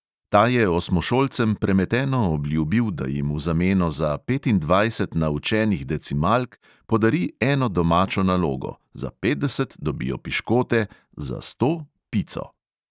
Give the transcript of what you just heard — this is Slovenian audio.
Ta je osmošolcem premeteno obljubil, da jim v zameno za petindvajset naučenih decimalk podari eno domačo nalogo, za petdeset dobijo piškote, za sto pico.